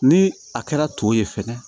Ni a kɛra to ye fɛnɛ